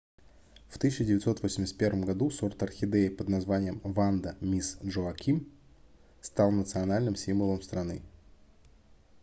в 1981 году сорт орхидеи под названием ванда мисс джоаким стал национальным символом страны